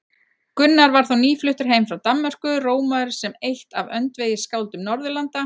Gunnar var þá nýfluttur heim frá Danmörku, rómaður sem eitt af öndvegisskáldum Norðurlanda.